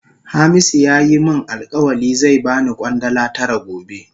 Hamisu ya yi min alkawali zai ba ni Kwandala tara gobe.